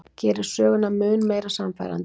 Gerir söguna mun meira sannfærandi.